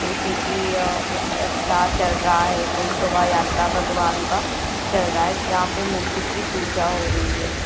जैसे की अ कुछ अच्छा चल रहा है कोई शोभा यात्रा भगवान का चल रहा है जहाँं पे मूर्ति की पूजा हो रही है।